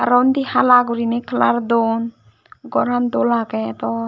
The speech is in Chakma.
aro undi hala gurine kalar duon goran dol agey do.